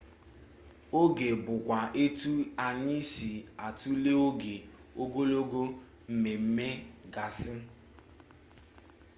oge bụkwa etu anyị si atule oge ogologo mmemme gasị